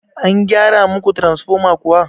An gyara muku taransifoma kuwa?